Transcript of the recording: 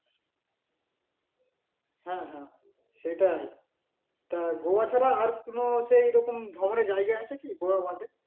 হ্যা হ্যা সেটাই তা গোয়া ছাড়া আর কোনো সেই রকম ধরনের জায়গা আছে কি গোয়া বাদে?